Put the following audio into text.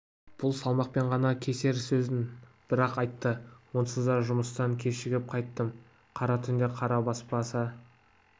бұл салмақпен ғана кесер сөзін бір-ақ айтты онсыз да жұмыстан кешігіп қайттым қара түнде қара баспаса